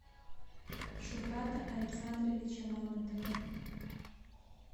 шухрата александровича мамонтова